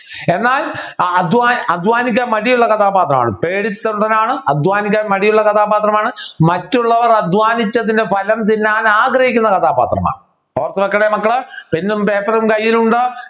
എന്നാൽ അധ്വാന അധ്വാനിക്കാൻ മടിയുള്ള കഥാപാത്രമാണ് പേടിത്തൊണ്ടനാണ് അധ്വാനിക്കാൻ മടിയുള്ള കഥാപാത്രമാണ് മറ്റുള്ളവർ അധ്വാനിച്ചതിൻ്റെ ഫലം തിന്നാൻ ആഗ്രഹിക്കുന്ന കഥാപാത്രമാണ് ഓർത്തു വെക്കണേ മക്കള് Pen ഉം paper ഉം കയ്യിലുണ്ടോ